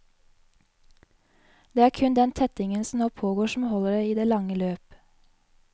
Det er kun den tettingen som nå pågår som holder i det lange løp.